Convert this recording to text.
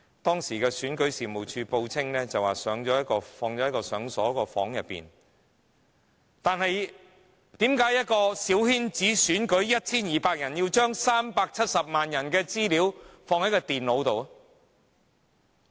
當時選舉事務處報稱資料放在一個已鎖上的房間內，但為何一個小圈子選舉，只得 1,200 名選委，卻要將370萬人的資料存放於電腦中呢？